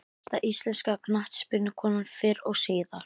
Besta íslenska knattspyrnukonan fyrr og síðar?